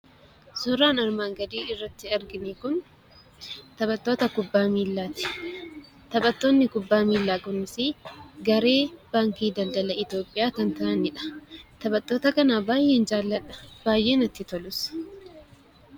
Suuraan armaan gadii irratti argine kun taphattoota kubbaa miilaati. Taphattoonni kubbaa miilaa kunisi garee Baankii Daldala Itoophiyaa kan ta'ani dha. Taphattoota kana baay'een jaalladha; baay'ee natti tolus.